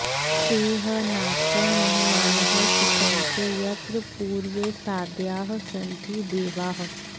ते ह नाकं महिमानः सचन्ते यत्र पूर्वे साध्याः सन्ति देवाः